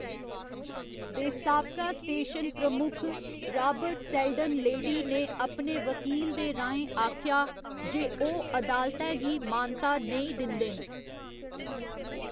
दे साबका स्टेशन प्रमुख, Robert Selden लेडी ने अपने वकील दे राहें आखेआ जे ओह्‌‌ अदालतै गी मानता नेईं दिंदे न।